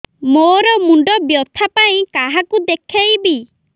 ମୋର ମୁଣ୍ଡ ବ୍ୟଥା ପାଇଁ କାହାକୁ ଦେଖେଇବି